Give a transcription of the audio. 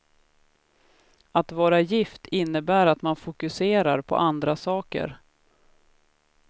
Att vara gift innebär att man fokuserar på andra saker.